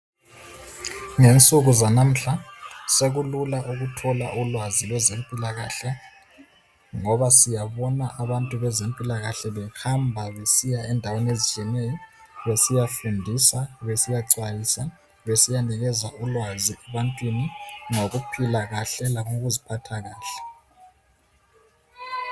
Ngensuku zanamuhla sekulula ukuthola ulwazi lwezempilakahle ngoba siyabona abantu bezempilakahle behamba besiya endaweni ezitshiyeneyo. Besiyafundisa, besiyaxwayisa, besiyanikeza ulwazi ebantwini ngokuphila kahle langokuziphatha kahle.